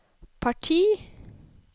parti